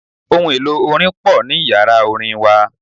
Ohun-èlò orin pò ní Ìyàrá orin wa.